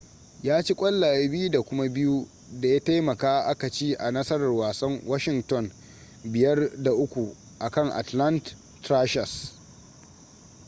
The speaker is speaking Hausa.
ya ci ƙwallaye 2 da kuma 2 da ya taimaka aka ci a nasarar wasan washington 5-3 akan atlanta thrashers